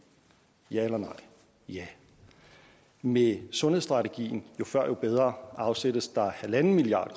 ja eller nej ja med sundhedsstrategien jo før jo bedre afsættes der en milliard